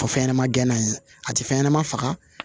Fɔ fɛn ɲɛnɛma gɛnna ye a ti fɛn ɲɛnama faga